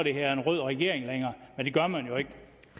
hedder en rød regering længere men det gør man jo ikke